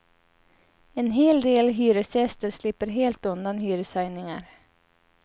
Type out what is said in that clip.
En hel del hyresgäster slipper helt undan hyreshöjningar.